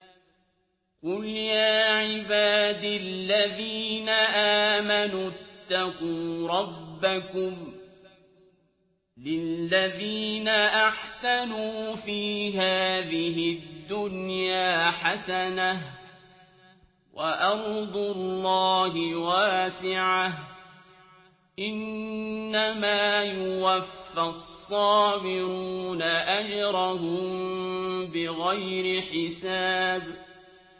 قُلْ يَا عِبَادِ الَّذِينَ آمَنُوا اتَّقُوا رَبَّكُمْ ۚ لِلَّذِينَ أَحْسَنُوا فِي هَٰذِهِ الدُّنْيَا حَسَنَةٌ ۗ وَأَرْضُ اللَّهِ وَاسِعَةٌ ۗ إِنَّمَا يُوَفَّى الصَّابِرُونَ أَجْرَهُم بِغَيْرِ حِسَابٍ